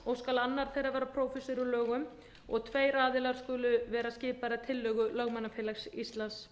og skal annar þeirra vera prófessor í lögum tveir aðilar skulu vera skipaðir að tillögu lögmannafélags íslands